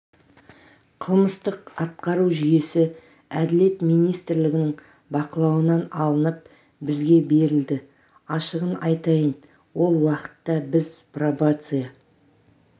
қылмыстық атқару жүйесі әділет министрлігінің бақылауынан алынып бізге берілді ашығын айтайын ол уақытта біз пробация